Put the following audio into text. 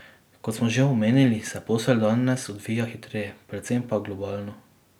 Kot smo že omenili, se posel danes odvija hitreje, predvsem pa globalno.